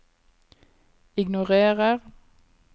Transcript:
ignorer